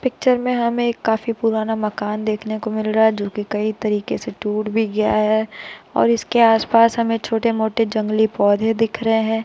Picture में हमें एक काफी पुराना मकान देखने को मिल रहा है जो कि कई तरीके से टूट भी गया है और इसके आसपास हमें छोटे-मोटे जंगली पौधे दिख रहे हैं।